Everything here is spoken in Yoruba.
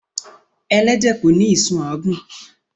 Elẹ́dẹ̀ ko ní ìsun àágún